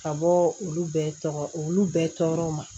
Ka bɔ olu bɛɛ tɔgɔ olu bɛɛ tɔgɔ ma